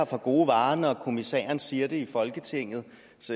for gode varer når kommissæren siger dem i folketingets